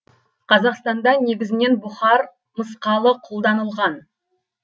қазақстанда негізінен бұхар мысқалы қолданылған